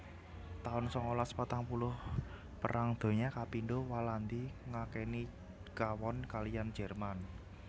taun sangalas patang puluh Perang Donya kapindho Walandi ngakeni kawon kaliyan Jerman